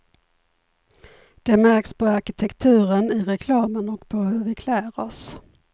Det märks på arkitekturen, i reklamen och på hur vi klär oss.